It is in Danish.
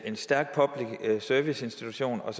en stærk public service institution og